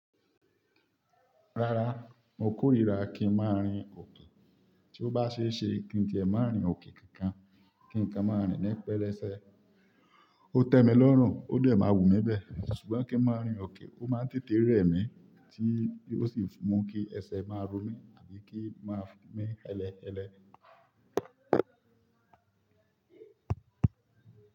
Rárá, mo kórira kí n má rìn òkè. Tí ó bá ṣe é ṣe kí n ti ẹ má rìn òkè kankan. Kí n kan máa rìn ní pẹlẹsẹ. Ó tẹ́ mi lọ́rùn, ó dè máa wù mí bẹ. Sugbon kí n máa rìn òkè, ó má ń tètè rẹ mí tí ó sì mú kí ẹsẹ̀ máa ro mí tabí kí í máa mí ẹlẹ ẹlẹ.